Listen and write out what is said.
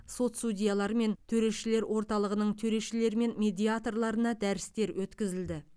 сот судьяларымен төрешілер орталығының төрешілері мен медиаторларына дәрістер өткізілді